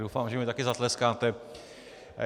Doufám, že mi taky zatleskáte.